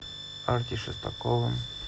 арти шестаковым